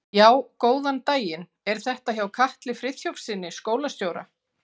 Já, góðan daginn. er þetta hjá Katli Friðþjófssyni, skólastjóra?